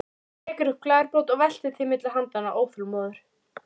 Hann tekur upp glerbrot og veltir því milli handanna, óþolinmóður.